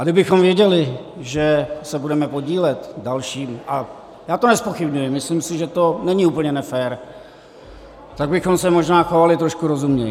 A kdybychom věděli, že se budeme podílet dalším, a já to nezpochybňuji, myslím si, že to není úplně nefér, tak bychom se možná chovali trošku rozumněji.